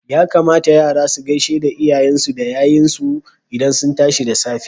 Ya kamata Yara su gaishe lyayensu da yayensu idan sun tashi da tsafe.